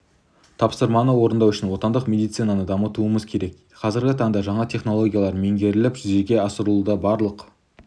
тапсырманы орындау үшін отандық медецинаны дамытуымыз керек қазіргі таңда жаңа технологиялар меңгеріліп жүзеге асырылуда барлық